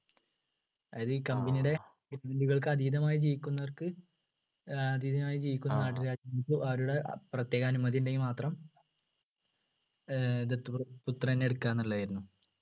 അതായത് ഈ company ടെ അതീതമായ ജീവിക്കുന്നവർക്ക് ഏർ അതീതമായ ജീവിക്കുന്ന നാട്ടുരാജ്യങ്ങൾക്ക് അവരുടെ പ്രത്യേക അനുമതി ഉണ്ടെങ്കിൽ മാത്രം ഏർ ദത്തു പുത്രനെ എടുക്കാം ന്നുള്ളതായിരുന്നു